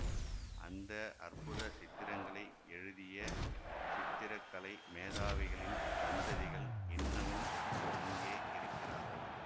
அந்த அற்புத சித்திரங்களை எழுதிய சித்திர கலை மேதாவிகளின் சந்ததிகள் இன்னமும் அங்கே இருக்கிறார்கள்